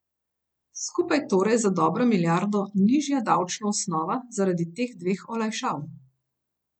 Skupaj torej za dobro milijardo nižja davčna osnova zaradi teh dveh olajšav.